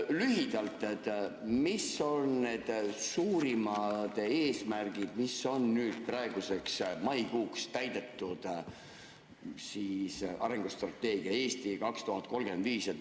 Lühidalt: mis on need suurimad eesmärgid, mis on praeguseks, maikuuks täidetud arengustrateegiast "Eesti 2035"?